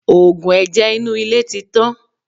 Oògùn ẹ̀jẹ̀ inú ilé ti tán.